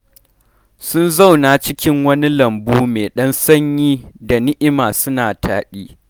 Sun zauna cikin wani lambu mai ɗan sanyi da ni'ima suna taɗi.